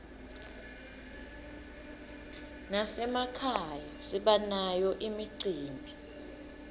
nasemakhaya sibanayo imicimbi